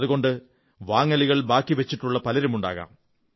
അതുകൊണ്ട് വാങ്ങലുകൾ ബാക്കി വച്ചിട്ടുള്ള പലരുമുണ്ടാകും